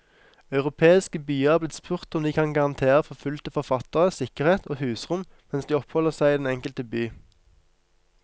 Europeiske byer er blitt spurt om de kan garantere forfulgte forfattere sikkerhet og husrom mens de oppholder seg i den enkelte by.